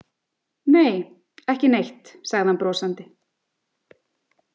Nei, ekki neitt, sagði hann brosandi.